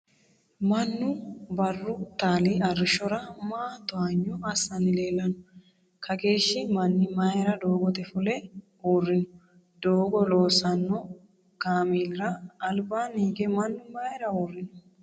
Mannu barru-taali arrishshora maa towanyo assanni leellanno ? kaageeshshi manni maayra doogote fulle uurrino ? Doogo loosanno kaameelira albaanni hige mannu mayra uurrino ?